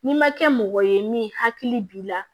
N'i ma kɛ mɔgɔ ye min hakili b'i la